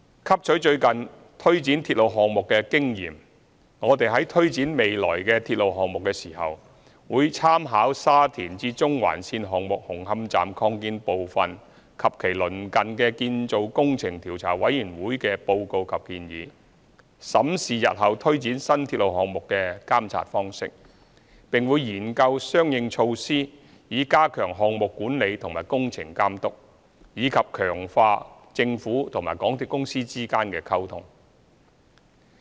汲取最近推展鐵路項目的經驗，我們在推展未來的鐵路項目時，會參考沙田至中環綫項目紅磡站擴建部分及其鄰近的建造工程調查委員會的報告及建議，審視日後推展新鐵路項目的監察方式，並會研究相應措施以加強項目管理和工程監督，以及強化政府和港鐵公司之間的溝通。